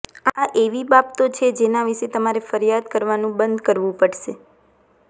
આ એવી બાબતો છે જેના વિશે તમારે ફરિયાદ કરવાનું બંધ કરવું પડશે